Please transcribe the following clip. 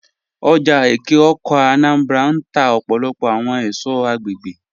Oja Eke-Awka (Anambra) n tà ọpọlọpọ awọn èṣọ̀ agbẹ̀gbẹ̀